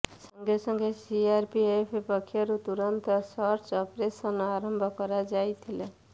ସଙ୍ଗେସଙ୍ଗେ ସିଆରପିଏଫ୍ ପକ୍ଷରୁ ତୁରନ୍ତ ସର୍ଚ୍ଚ ଅପରେସନ୍ ଆରମ୍ଭ କରାଯାଇଥିଲା